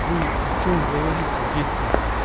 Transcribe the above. вы о чем говорите дети